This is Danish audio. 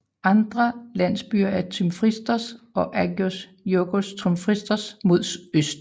Andre landsbyer er Tymfristos og Agios Georgios Tymfristou mod øst